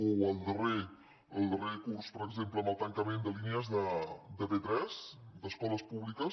o al darrer curs per exemple amb el tancament de línies de p3 d’escoles públiques